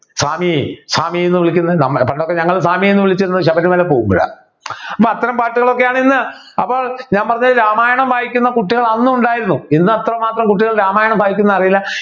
സ്വാമി സ്വാമി ന്ന് വിളിക്കുന്നത് നമുടെ പണ്ടൊക്കെ നമ്മളു സ്വാമി എന്ന് വിളിച്ചിരുന്നത് ശബരിമല പോകുമ്പോഴാ അത്തരം പാട്ടുകളൊക്കെയാണ് ഇന്ന് അപ്പോൾ ഞാൻ പറഞ്ഞില്ലേ രാമായണം വായിക്കുന്ന കുട്ടികൾ അന്നു ഉണ്ടായിരുന്നു ഇന്ന് അത്രമാത്രം കുട്ടികളിൽ രാമായണം വായിക്കു ന്നു അറീല